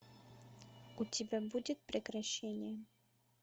у тебя будет прекращение